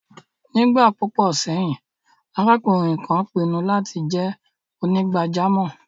Nígbà púpọ̀ sẹ́yìn, arákùnrin kan pinnu láti jẹ́ onígbàjámọ̀.